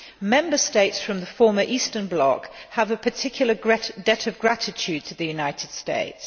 Member States from the former Eastern bloc have a particular debt of gratitude to the United States.